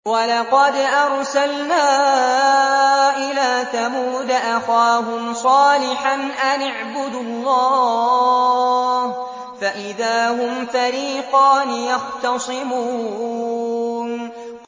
وَلَقَدْ أَرْسَلْنَا إِلَىٰ ثَمُودَ أَخَاهُمْ صَالِحًا أَنِ اعْبُدُوا اللَّهَ فَإِذَا هُمْ فَرِيقَانِ يَخْتَصِمُونَ